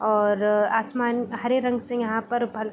और अअ आसमान हरे रंग से यहाँ पर भल --